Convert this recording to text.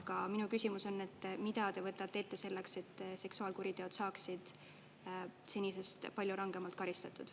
Aga minu küsimus on, et mida te võtate ette selleks, et seksuaalkuriteod saaksid senisest palju rangemalt karistatud.